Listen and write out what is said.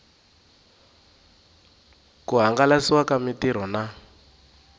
ku hangalasiwa ka mitirho na